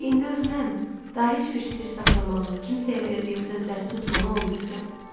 Çünki indi ölsəm, daha heç bir sirr saxlamalı, kimsəyə verdiyim sözləri tutmalı olmayacam.